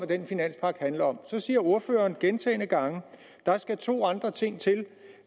den finanspagt handler om så siger ordføreren gentagne gange at der skal to andre ting til